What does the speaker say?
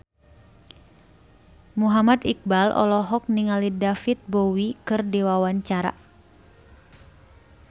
Muhammad Iqbal olohok ningali David Bowie keur diwawancara